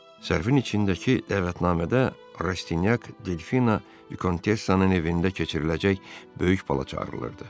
Zərfin içindəki dəvətnamədə Rastyanyak Delfina Vikontessanın evində keçiriləcək böyük balaca çağırılırdı.